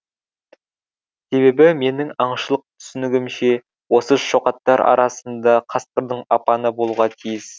себебі менің аңшылық түсінігімше осы шоқаттар арасында қасқырдың апаны болуға тиіс